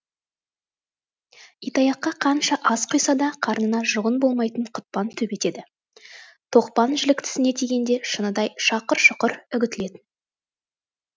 итаяққа қанша ас құйса да қарнына жұғын болмайтын құтпан төбет еді тоқпан жілік тісіне тигенде шыныдай шақұр шұқыр үгітіледі